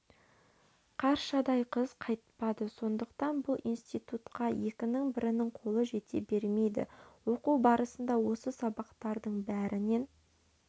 қаршадай қыз қайтпады сондықтан бұл институтқа екінің бірінің қолы жете бермейді оқу барысында осы сабақтардың бәрінен